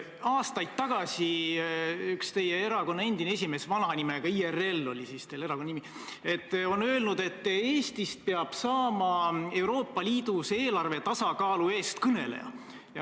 Aastaid tagasi üks teie erakonna endine esimees – IRL oli siis teie erakonna nimi – ütles, et Eestist peab saama Euroopa Liidus eelarve tasakaalu eestkõneleja.